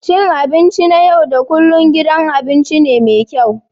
Cin abinci na yau da kullun gidan abinci ne mai kyau